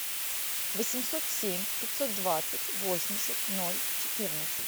восемьсот семь пятьсот двадцать восемьдесят ноль четырнадцать